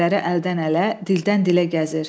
Şeirləri əldən-ələ, dildən-dilə gəzir.